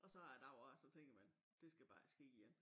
Og så er der jo også så tænker man det skal bare ikke ske igen